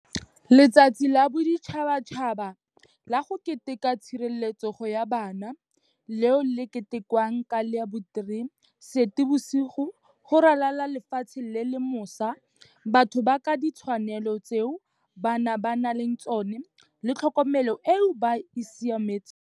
Letsatsi la Boditšhabatšhaba la go Keteka tshireletsego ya Bana, leo le ketekiwang ka la bo 03 Seetebosigo go ralala le lefatshe le lemosa batho ka ditshwanelo tseo bana ba nang le tsona le tlhokomelo eo e ba siametseng.